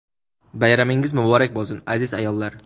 Bayramingiz muborak bo‘lsin, aziz ayollar!.